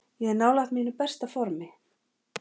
Ég er nálægt mínu besta formi.